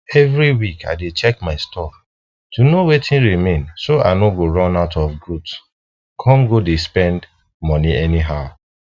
every week i dey check my store to know wetin remain so i no go run out of goods come go dey spend moni anyhow